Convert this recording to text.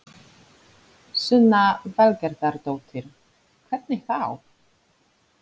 Sunna Valgerðardóttir: Hvernig þá?